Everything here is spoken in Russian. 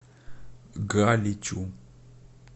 галичу